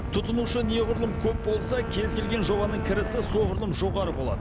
тұтынушы неғұрлым көп болса кез келген жобаның кірісі соғұрлым жоғары болады